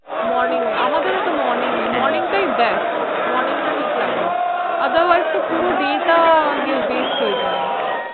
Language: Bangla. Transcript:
morning এ আমাদের ও তো morning morning টা, morning টা ঠিক লাগে Other Wise পুরো day তো waste হয়ে যায়